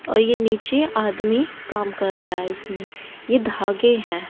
औ ये नीचे आदमी काम रहा है इसमे ये धागे है।